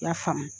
I y'a faamu